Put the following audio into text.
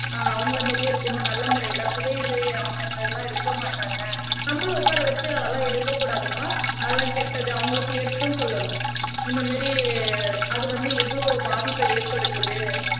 அஹ் அவங்களை மாதிரியே இருக்கணும் நல்ல முறையில புகையிலையை அவங்க இந்த இதெல்லாம் எடுக்க மாட்டாங்க நம்மளும் உட்கார வச்சு அதெல்லாம் எடுக்கக் கூடாதுப்பா அதெல்லாம் கெட்டது அவங்களுக்கு எடுத்தும் சொல்லணும் இந்த மாதிரி அது வந்து எவ்வளவு பாதிப்பை ஏற்படுத்துது